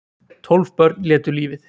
Tólf börn létu lífið